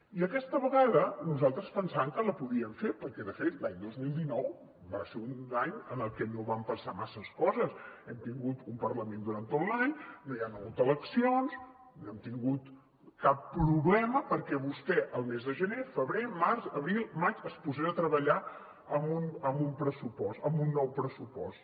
i aquesta vegada nosaltres pensàvem que la podien fer perquè de fet l’any dos mil dinou va ser un any en el que no van passar masses coses hem tingut un parlament durant tot l’any no hi han hagut eleccions no hem tingut cap problema perquè vostè el mes de gener febrer març abril maig es posés a treballar en un pressupost en nou pressupost